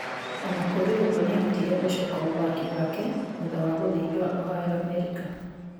Ona kũrĩ uguo nĩahotire gũcoka uthaki wake thutha wa gũthĩnjwa Ohio ,America